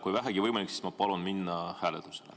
Kui vähegi võimalik, siis ma palun minna hääletuse juurde.